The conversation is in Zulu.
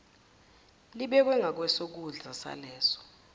libekwe ngakwesokudla saleso